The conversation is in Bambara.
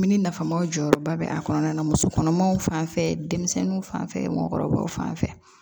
Mini nafamaw jɔyɔrɔba bɛ a kɔnɔna na musokɔnɔmaw fan fɛ denmisɛnninw fanfɛ mɔgɔkɔrɔbaw fan fɛ